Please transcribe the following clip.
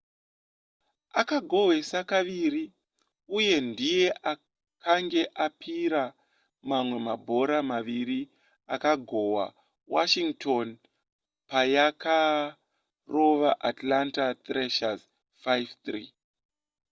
akagohwesa kaviri uye ndiye akange apira mamwe mabhora maviri akagohwa washington payakarova atlanta thrashers 5-3